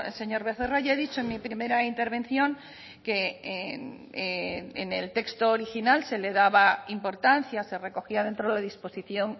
señor becerra ya he dicho en mi primera intervención que en el texto original se le daba importancia se recogía dentro de la disposición